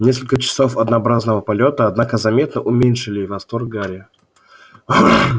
несколько часов однообразного полёта однако заметно уменьшили восторг гарри